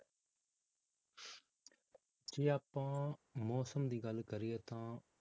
ਜੇ ਆਪਾਂ ਮੌਸਮ ਦੀ ਗੱਲ ਕਰੀਏ ਤਾਂ,